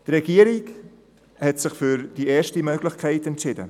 Die Regierung hat sich für die erste Möglichkeit entschieden.